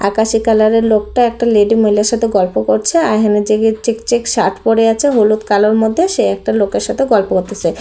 আকাশি কালার এর লোকটা একটা লেডি মহিলার সাথে গল্প করছে আর এহানে যে চেক চেক শার্ট পরে আছে হলুদ কালোর মধ্যে সে একটা লোকের সাথে গল্প করতেসে।